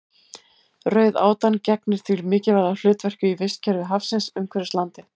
Rauðátan gegnir því mikilvægu hlutverki í vistkerfi hafsins umhverfis landið.